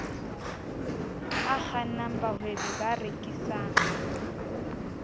a kgannang bahwebi ba rekisang